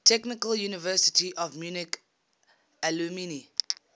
technical university of munich alumni